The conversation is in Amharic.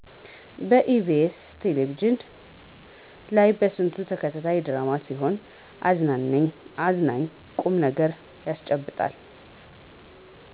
ኢ.ቢ.ስ ቴለቪዥን ላይ የበስንቱ ተከታታይ ድራማ ሲሆን እያዝናና ቁምነገር ያስጨብጣል።